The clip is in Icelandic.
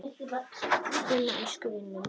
Gunna, æskuvin minn.